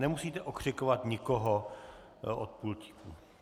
Nemusíte okřikovat nikoho od pultíku.